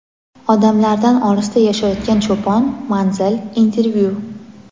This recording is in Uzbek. Odamlardan olisda yashayotgan cho‘pon — Manzil | Intervyu.